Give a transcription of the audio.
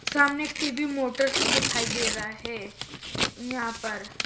सामने एक TV Motors दिखाई दे रहा है यहां पर--